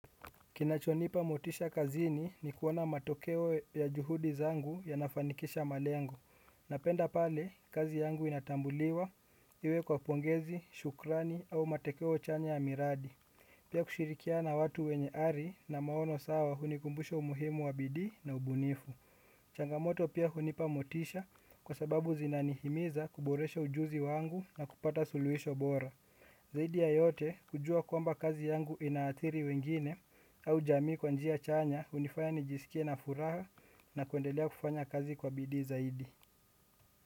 Kinachonipa motisha kazini ni kuona matokeo ya juhudi zangu yanafanikisha malengo. Napenda pale, kazi yangu inatambuliwa iwe kwa pongezi, shukrani au matekeo chanya ya miradi. Pia kushirikiana na watu wenye ari na maono sawa hunikumbusha umuhimu wa bidii na ubunifu. Changamoto pia hunipa motisha kwa sababu zinanihimiza kuboresha ujuzi wangu na kupata suluhisho bora. Zaidi ya yote kujua kwamba kazi yangu inaathiri wengine au jamii kwa njia chanya hunifanya nijisikie na furaha na kuendelea kufanya kazi kwa bidii zaidi.